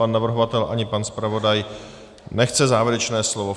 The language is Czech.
Pan navrhovatel ani pan zpravodaj nechce závěrečné slovo.